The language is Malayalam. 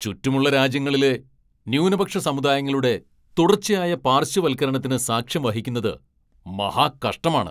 ചുറ്റുമുള്ള രാജ്യങ്ങളിലെ ന്യൂനപക്ഷ സമുദായങ്ങളുടെ തുടർച്ചയായ പാർശ്വവൽക്കരണത്തിന് സാക്ഷ്യം വഹിക്കുന്നത് മഹാകഷ്ടമാണ്.